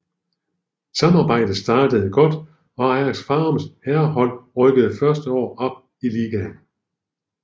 Samarbejdet startede godt og Ajax Farums herrehold rykkede første år op i ligaen